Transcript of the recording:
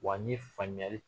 Wa n ye faamuyali